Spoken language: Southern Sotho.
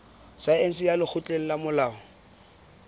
saense ya lekgotleng la molao